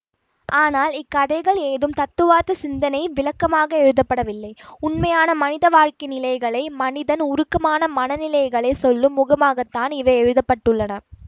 ஆனால் இக்கதைகள் ஏதும் தத்துவார்த்த சிந்தனை விளக்கமாக எழுதப்படவில்லை உண்மையான மனித வாழ்க்கை நிலைகளை மனிதன் உருக்கமான மன நிலைகளை சொல்லும் முகமாகத்தான் இவை எழுத பட்டுள்ளன